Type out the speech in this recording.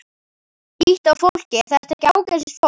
Líttu á fólkið, er þetta ekki ágætisfólk?